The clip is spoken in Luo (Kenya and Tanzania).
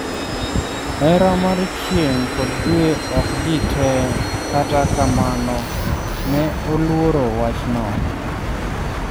hera mar chieng' kod dwe ok ji te kata kamano ne oluoro wach no